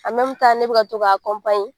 ne bɛ ka to k'a